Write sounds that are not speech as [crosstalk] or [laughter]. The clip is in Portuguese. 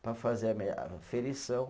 Para fazer a [unintelligible] aferição.